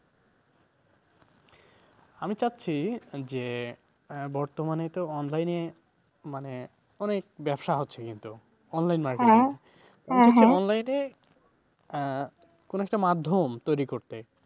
আমি চাচ্ছি যে বর্তমানে তো online এ মানে অনেক ব্যবসা হচ্ছে কিন্তু online market online এ আহ কোন একটা মাধ্যম তৈরি করতে,